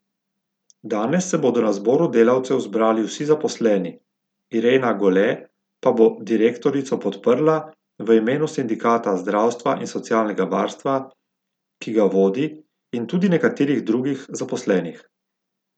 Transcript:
Danes se bodo na zboru delavcev zbrali tudi zaposleni, Irena Gole pa bo direktorico podprla v imenu sindikata zdravstva in socialnega varstva, ki ga vodi, in tudi nekaterih drugih zaposlenih.